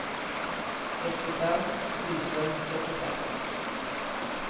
sextiofem tusen fyrtiofem